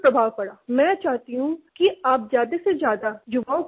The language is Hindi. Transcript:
मैं चाहती हूँ कि आप ज़्यादा से ज़्यादा युवाओं को मोटीवेट करें